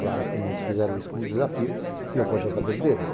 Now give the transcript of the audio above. Claro que muitos fizeram isso como desafio e eu cortei o cabelo deles.